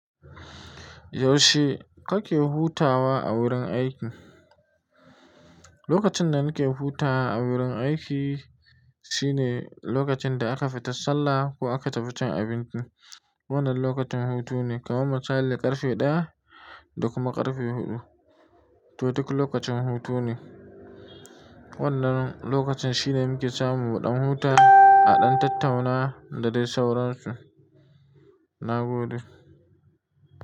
Yaushe kake hutawa a wurin aiki? Lokacin da nike hutawa a wurin aiki shine lokacin da aka fita sallah ko aka tafi cin abinci. Wannan lokacin hutu ne kamar misali ƙarfe ɗaya da kuma ƙarfe huɗu. To duk lokacin hutu ne. Wannan lokacin shine muke samu baƙin huta a ɗan tattauna da dai sauransu. Na gode.